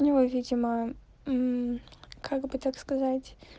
у него видимо мм как бы так сказать